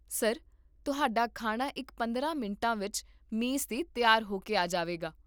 sir, ਤੁਹਾਡਾ ਖਾਣਾ ਇਕ ਪੰਦਰਾਂ ਮਿੰਟਾਂ ਵਿੱਚ ਮੇਜ਼ 'ਤੇ ਤਿਆਰ ਹੋ ਕੇ ਆ ਜਾਵੇਗਾ